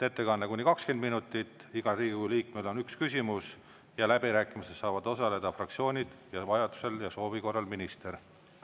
Ettekanne kuni 20 minutit, igal Riigikogu liikmel on üks küsimus ja läbirääkimistel saavad osaleda fraktsioonid ja vajadusel ja soovi korral minister.